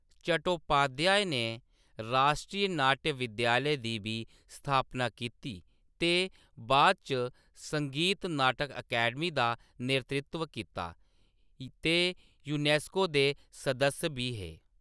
चट्टोपाध्याय नै राश्ट्री नाट्य विद्यालय दी बी स्थापना कीती ते बाद इच संगीत नाटक अकैडमी दा नेतृत्व कीता, ते यूनेस्को दे सदस्य बी हे।